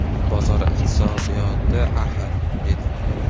Bozor iqtisodiyoti axir”, dedim.